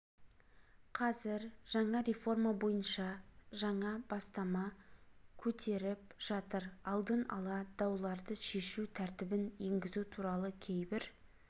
қазір жаңа реформа бойынша жаңа бастама көтеріп жатыр алдын ала дауларды шешу тәртібін енгізу туралы кейбір